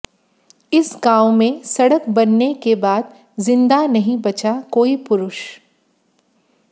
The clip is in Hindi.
इस गांव में सड़क बनने के बाद जिंदा नहीं बचा कोई पुरुष